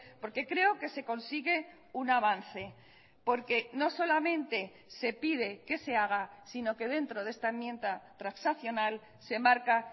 porque creo que se consigue un avance porque no solamente se pide que se haga sino que dentro de esta enmienda transaccional se marca